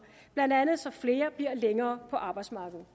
blandt andet så flere bliver længere på arbejdsmarkedet